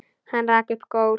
Hann rak upp gól.